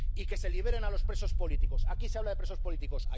Y que se libere a los presos políticos. Aquí se habla de presos políticos.